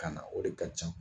Kan na o de ka ca.